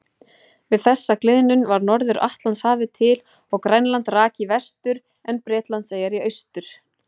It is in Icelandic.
Við þessa gliðnun varð Norður-Atlantshafið til og Grænland rak í vestur en Bretlandseyjar í austur.